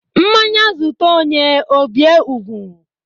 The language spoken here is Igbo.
Mmanya zute onye ọ bie ugwu